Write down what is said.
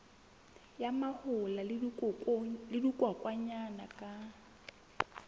ya mahola le dikokwanyana ka